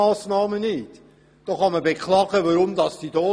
Man kann beklagen, weshalb sie hier sind.